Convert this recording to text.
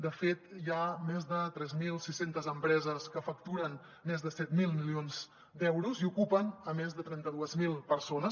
de fet hi ha més de tres mil sis cents empreses que facturen més de set mil milions d’euros i ocupen a més de trenta dos mil persones